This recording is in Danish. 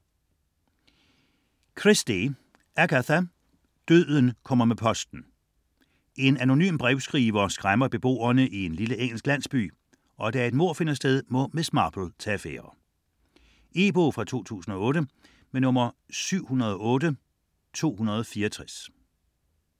Christie, Agatha: Døden kommer med posten En anonym brevskriver skræmmer beboerne i en lille engelsk landsby, og da et mord finder sted, må Miss Marple tage affære. E-bog 708264 2008.